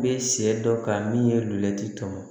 N bɛ sɛ dɔ ka min ye luti tɔmɔ